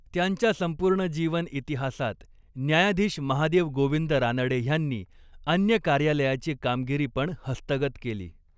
त्यांच्या संपूर्ण जीवन इतिहासात, न्यायाधीश महादेव गोविंद रानडे ह्यांनी अन्य कार्यालयाची कामगिरी पण हस्तगत केली.